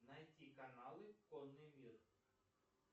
найти каналы конный мир